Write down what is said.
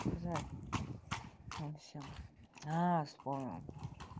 жаль вам всем аа вспомнила